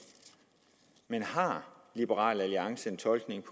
men har liberal alliance en tolkning